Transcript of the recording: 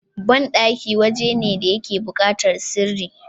banɗaki waje ne da yake bukatar sirri